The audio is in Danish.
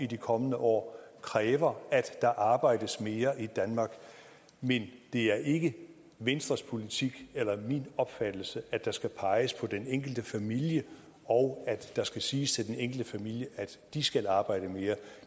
de kommende år kræver at der arbejdes mere i danmark men det er ikke venstres politik eller min opfattelse at der skal peges på den enkelte familie og at der skal siges til den enkelte familie at de skal arbejde mere